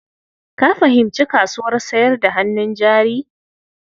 Ka fahimci kasuwar sayar da hannun jari?